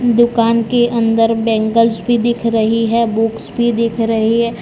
दुकान के अंदर बैंगल्स भी दिख रही है बुक्स भी दिख रही है।